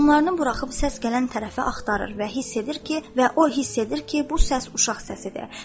Qoyunlarını buraxıb səs gələn tərəfi axtarır və hiss edir ki, və o hiss edir ki, bu səs uşaq səsidir.